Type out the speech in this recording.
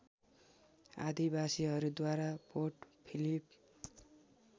आदिवासीहरूद्वारा Port Philip